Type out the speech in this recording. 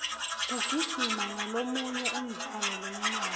kugijima ngolomunye umdlalo lomnandzi